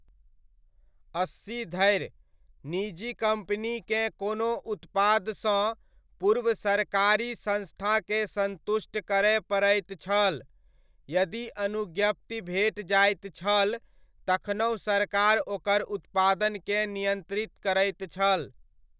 अस्सी धरि, निजी कम्पनीकेँ कोनो उत्पादसँ पूर्व सरकारी संस्थाकेँ संतुष्ट करय पड़ैत छल, यदि अनुज्ञप्ति भेट जाइत छल तखनहुँ सरकार ओकर उत्पादनकेँ नियन्त्रित करैत छल।